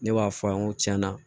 Ne b'a fɔ a ye n ko tiɲɛna